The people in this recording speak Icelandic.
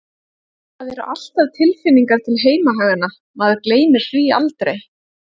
Það eru alltaf tilfinningar til heimahaganna, maður gleymir því aldrei.